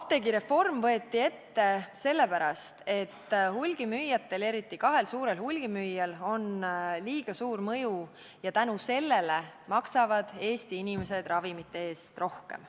Apteegireform võeti ette sellepärast, et hulgimüüjatel, eriti kahel suurel hulgimüüjal, on liiga suur mõju ja seepärast maksavad Eesti inimesed ravimite eest rohkem.